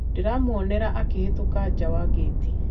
ndĩramuonira akĩhĩtũka nja wa gĩti